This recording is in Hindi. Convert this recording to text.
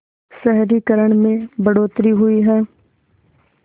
शहरीकरण में बढ़ोतरी हुई है